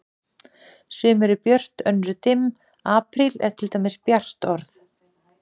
Sum eru björt, önnur dimm, apríl er til dæmis bjart orð.